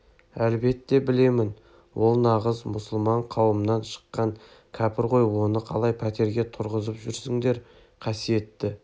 әлбетте білемін ол нағыз мұсылман қауымынан шыққан кәпір ғой оны қалай пәтерге тұрғызып жүргенсіңдер қасиетті